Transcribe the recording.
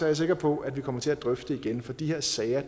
jeg sikker på at vi kommer til at drøfte det igen for de her sager